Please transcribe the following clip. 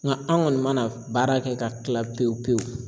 Nga an kɔni mana baara kɛ ka kila pewu pewu